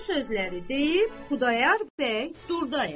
Bu sözləri deyib Xudayar bəy durdaya.